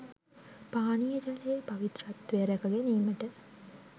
පානීය ජලයේ පවිත්‍රත්වය රැකගැනීමට